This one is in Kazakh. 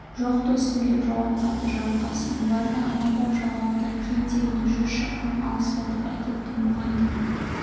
жоқ достым деп жауап қатты жарылқасын оларды амалдап жағалаудан кем дегенде жүз шақырым алыстатып әкеттім бұған да